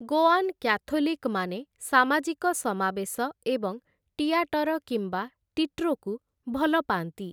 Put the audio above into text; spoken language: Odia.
ଗୋଆନ୍ କ୍ୟାଥୋଲିକ୍‌ମାନେ ସାମାଜିକ ସମାବେଶ ଏବଂ ଟିଆଟର କିମ୍ବା ଟିଟ୍ରୋକୁ ଭଲ ପାଆନ୍ତି ।